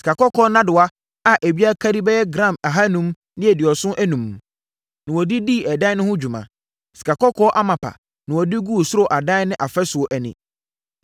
Sikakɔkɔɔ nnadewa a ebiara kari bɛyɛ gram ahanum ne aduɔson enum (575) na wɔde dii ɛdan no ho dwuma. Sikakɔkɔɔ amapa na wɔde guu soro adan no afasuo ani.